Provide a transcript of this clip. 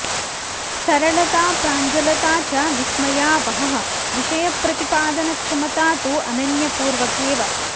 सरलंता प्राञ्जलता च विस्मयावहः विषयप्रतिपादनक्षमता तु अनन्यपूर्व केव